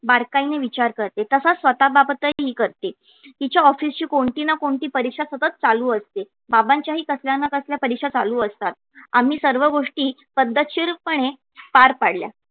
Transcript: बारकाई ने विचार करते तसा स्वतः बाबतीतही करते तिच्या office ची कोणती ना कोणती परीक्षा सतत चालू असते. बाबांच्या ही कसल्या ना कसल्या परीक्षा चालू असतात. आम्ही सर्व गोष्टी पद्धतशीरपणे पार पाडल्या